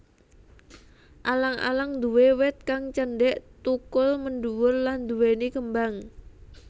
Alang alang nduwé wit kang cendhek thukul mendhuwur lan nduwèni kembang